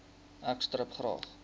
ek stip graag